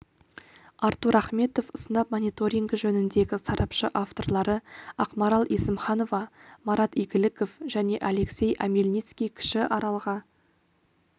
артур ахметов сынап мониторингі жөніндегі сарапшы авторлары ақмарал есімханова марат игіліков және алексей омельницкий кіші аралға